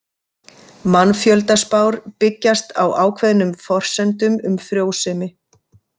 Mannfjöldaspár byggjast á ákveðnum forsendum um frjósemi.